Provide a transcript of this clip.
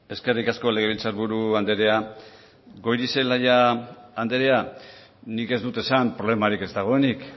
eskerrik asko legebiltzarburu andrea goirizelaia andrea nik ez dut esan problemarik ez dagoenik